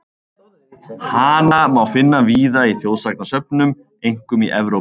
Hana má finna víða í þjóðsagnasöfnum, einkum í Evrópu.